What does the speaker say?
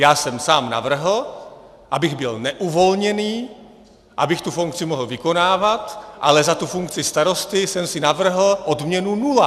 Já jsem sám navrhl, abych byl neuvolněný, abych tu funkci mohl vykonávat, ale za tu funkci starosty jsem si navrhl odměnu nula.